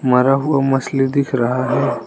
मरा हुआ मछली दिख रहा है।